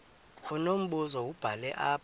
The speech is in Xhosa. unombuzo wubhale apha